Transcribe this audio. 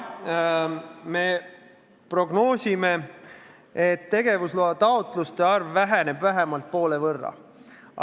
Jaa, me prognoosime, et tegevusloa taotluste arv väheneb vähemalt poole võrra.